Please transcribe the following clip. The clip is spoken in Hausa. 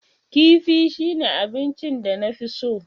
Kifi shine abinchin danafi so.